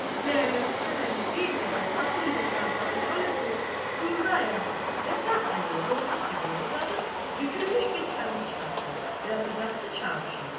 Məhəmməd Həsən əmi bir qədər atın dırnaqlarından öpüb, durdu ayağa və sağ əlini qoltuq cibinə uzadıb, bükülmüş bir kağız çıxartdı və uzatdı Çavuşa.